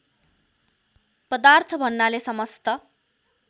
पदार्थ भन्नाले समस्त